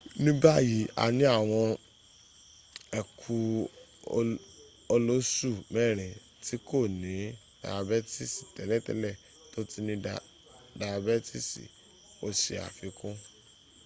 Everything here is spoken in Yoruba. ní báyìí a ní àwọn ẹku olóṣù mẹ́rin tí kò ní dayabẹ́tìsì tẹ́lẹ̀tẹ́lẹ̀ tó ti ní ayabẹ́tìsì̀,” o ṣe àfikún